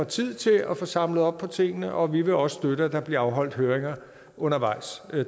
tid til at få samlet op på tingene og vi vil også støtte at der bliver afholdt høringer undervejs det